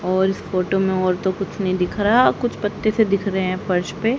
और इस फोटो में और तो कुछ नहीं दिख रहा कुछ पत्ते से दिख रहे हैं फर्श पे।